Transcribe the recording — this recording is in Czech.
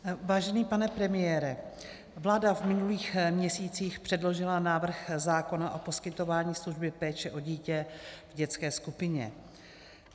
Vážený pane premiére, vláda v minulých měsících předložila návrh zákona o poskytování služby péče o dítě v dětské skupině.